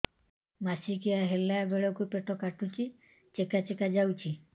ମାସିକିଆ ହେଲା ବେଳକୁ ପେଟ କାଟୁଚି ଚେକା ଚେକା ଯାଉଚି